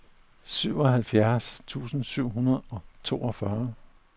syvoghalvfjerds tusind syv hundrede og toogtyve